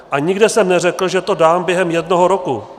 A nikde jsem neřekl, že to dám během jednoho roku.